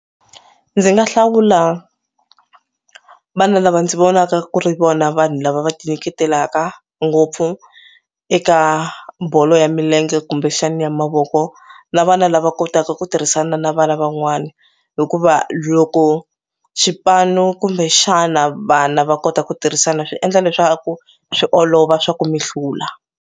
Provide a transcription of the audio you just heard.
Ndzi nga hlawula vana lava ndzi vonaka ku ri vona vanhu lava va ti nyiketelaka ngopfu eka bolo ya milenge kumbexani ya mavoko na vana lava kotaka ku tirhisana na vana van'wani hikuva loko xipano kumbe xana vana va kota ku tirhisana swi endla leswaku swi olova swa ku mi hlula.